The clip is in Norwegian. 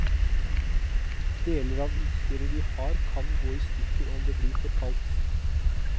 Deler av utstyret vi har kan gå i stykker om det blir for kaldt.